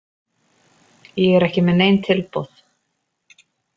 Ég er ekki með nein tilboð.